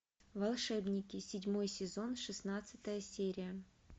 волшебники седьмой сезон шестнадцатая серия